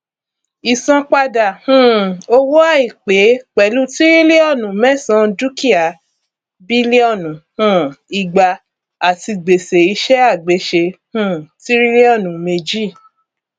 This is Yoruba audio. ìsanpadà um owó àìpé pẹlú tíríliọnù mẹsàn dúkìá bílíọnù um igba àti gbèsè iṣẹàgbéṣe um tíríliọnù méjì